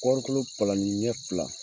Kɔrɔ kolo palanni ɲɛ fila